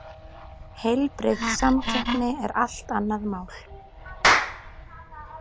Heilbrigð samkeppni er allt annað mál.